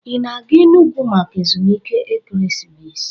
Ị na-aga Enugwu maka ezumike ekeresimesi?